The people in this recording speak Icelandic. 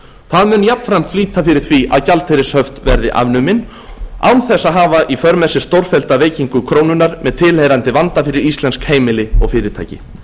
það mun jafnframt flýta fyrir því að gjaldeyrishöft verði afnumin án þess að hafa í för með sér stórfellda veikingu krónunnar með tilheyrandi vanda fyrir íslensk heimili og fyrirtæki